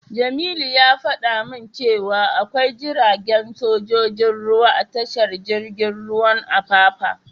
Jamilu ya fada min cewa akwai jiragen sojojin ruwa a tashar jirgin ruwan Apapa.